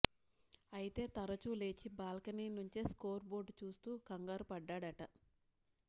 అయితే తరచూ లేచి బాల్కనీ నుంచే స్కోరు బోర్డు చూస్తూ కంగారుపడ్డాడట